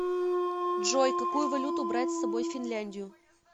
джой какую валюту брать с собой в финляндию